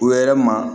Wɛrɛ ma